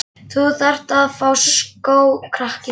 Þú þarft að fá skó, krakki sagði